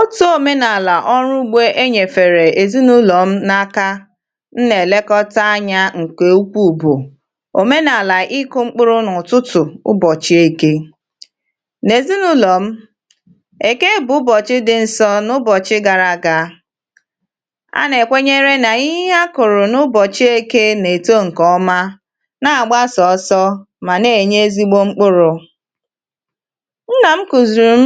ọ̀tụ̀ òmenàlà ọrụ ugbȯ e nyèfèrè èzinụ̇lọ̀ m n’aka m nà-èlekọta anyȧ ǹkè ukwu bụ òmenàlà ịkụ̇ mkpụrụ̇ n’ụ̀tụtụ̀ ụbọ̀chị̇ eke nà-èzinụ̇lọ̀ m èke bụ ụbọ̀chị̇ dị̇ nsọ n’ụbọ̀chị̇ gara àgà a nà-èkwenyere nà ihe akụ̀rụ̀ n’ụbọ̀chị̇ eke nà-èto ǹkè ọma nà-àgba sọ̀ọsọ̇ mà nà-ènye ezigbo mkpụrụ̇ nnam kụziirim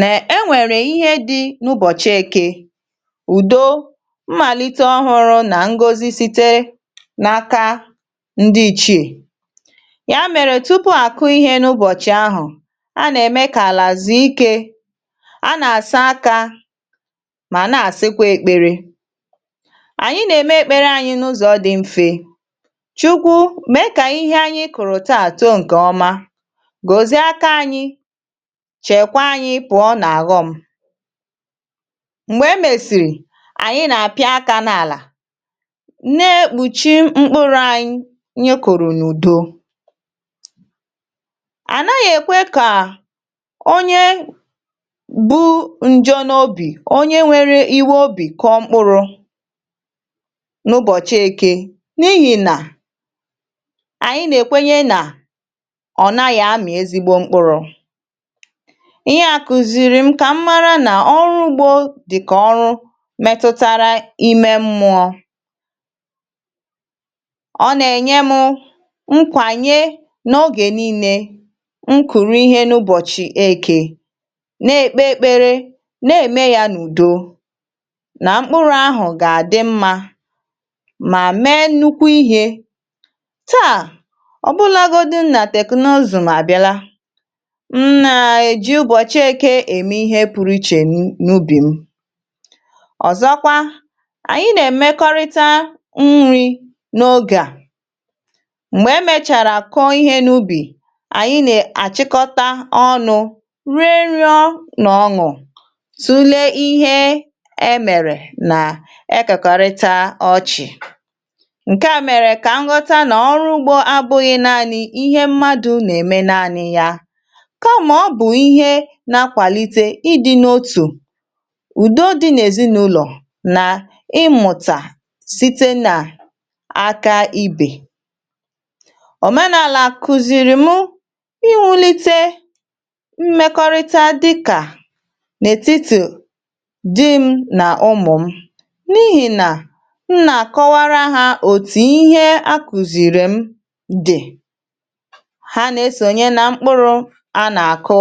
na enwere ihe dị n’ụbọchị eke ùdo màlite ọhụrụ nà ngozi site n’aka ndi ìchie yà mèrè tupu àkụ ihe n’ụbọ̀chị ahụ̀ a nà-ème kà àlà zùikė a nà-àsa aka mà na-àsịkwa èkpere ànyị na-emė ekpere anyị̇ n’ụzọ̀ dị mfe chukwu mee kà ihe anyị kụ̀rụ̀ taa too ǹkè ọma gọzie aka anyi Chekwaa anyị pụọ ná ọghom m̀gbè e mèsìrì ànyị nà-àpị́ áká n’àlà na-ekpùchi mkpụrụ anyi nye kùrùnùdo ànaghị̇ èkwe kà onye bu njọ n’obì onye nwere iwe obì kọọ mkpụrụ n’ụbọ̀chị eke n’ihì nà ànyị nà-èkwenye nà ọ̀ naghị̇ amị̀ ezigbo mkpụrụ dịkà ihe a kụziirim na ọrụ ugbo dịka ọrụ metụtara ime mmụọ ọ na-enye mụ nkwanye n’ogè niilė nkuru ihe n’ụbọ̀chị̀ ekė na-ekpe ekpere na-eme ya n’ùdo na mkpụrụ ahụ ga-adị mmȧ mà mee nnukwu ihė taa ọbụlagodi nna teknụzụ̀ m nà-èji ụbọchị eke eme ihe pụrụ iche n'ubi m ọ̀zọkwa ànyị nà-èmekọrịta nri̇ n’ogè à m̀gbè è mèchàrà kụọ ihe n’ubì ànyị nà-àchịkọta ọnụ̇ rie ñụọ nà ọṅụ̀ tụlee ihe emèrè nà ekekọrịta ọchị̀ ǹke à mèrè kà m ghọta nà ọrụ ugbȯ abụghị̇ naanị̇ ihe mmadụ̇ nà-ème naanị̇ ya kama ọ bụ ihe na-akwalite ịdị n’otu ùdo di nà èzinàụlọ̀ nà ịmụ̀tà site nà aka ibè òmenàlà kụ̀zìrì mụ ịwụ̇lite mmekọrịta dikà n’ètitù di m nà ụmụ̀ m n’ihì nà nnà àkọwara ha òtù ihe akụzìrì m dị ha na-esonye n’mkpụrụ na-akụ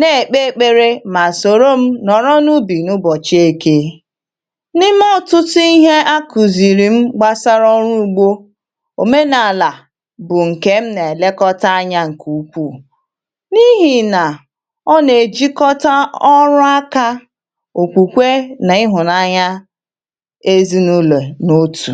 na-ekpe ekpere ma soro m nọ̀rọ n’ubì n’ụbọ̀chị ekė n’ime ọtụtụ ihe a kụzìrì m gbasara ọrụ ugbȯ òmenàlà bụ̀ ǹkè m nà-èlekọta anya ǹkè ukwuù n’ihì nà ọ nà-èjikọta ọrụ akȧ òkwùkwe nà ịhụ̀nanya ezinàụlọ̀ n’otù